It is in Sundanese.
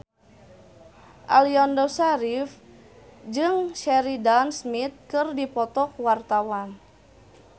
Aliando Syarif jeung Sheridan Smith keur dipoto ku wartawan